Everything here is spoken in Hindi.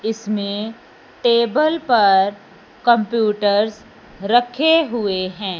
इसमें टेबल पर कंप्यूटर्स रखे हुए हैं।